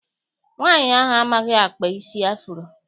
Nwaanyi ahụ amaghị akpa isi afuro.